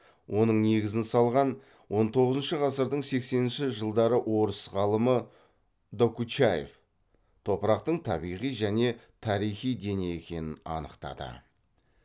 оның негізін салған он тоғызыншы ғасырдың сексенінші жылдары орыс ғалымы докучаев топырақтың табиғи және тарихи дене екенін анықтады